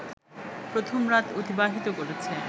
প্রথম রাত অতিবাহিত করেছে